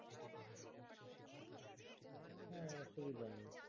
হ্যাঁ অসুবিধা নেই